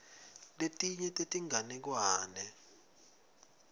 letinye tetinganekwane